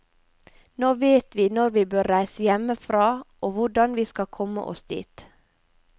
Nå vet vi når vi bør reise hjemmefra og hvordan vi skal komme oss dit.